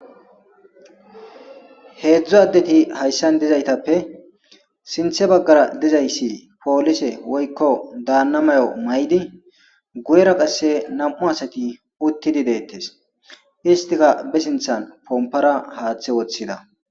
Heedzdzo addeti hayssan dizaytappe sinthe baggara dizayssi poolise woykko daanna mayo may7di guyera qasse nam7u asati uttidi deettes istika be sinthan pompora haaththe woththida